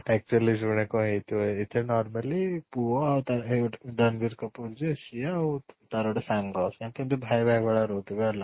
actually ଶୁଣେ କଣ ହେଇ ଥିବ ଏଥିରେ normally ପୁଅ ଆଉ ତା ଏଇ ଗୋଟେ ରଣବୀର କପୂର ଯିଏ ସିଏ ଆଉ ତାର ଗୋଟେ ସାଙ୍ଗ ସିଏ ଏମିତି ଭାଇ ଭାଇ ଭଳିଆ ରହୁ ଥିବେ ହେଲା